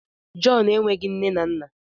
John nweghị nne na nna!